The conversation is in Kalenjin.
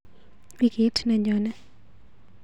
Wikit neyone.